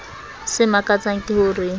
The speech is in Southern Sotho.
se makatsang ke ho re